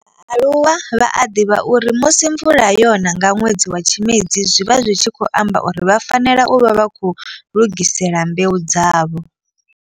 Vhaaluwa vha a divha uri musi mvula yona nga nwedzi wa Tshimedzi zwi vha zwi tshi khou amba uri vha fanela u vha vha khou lugisela mbeu dzavho.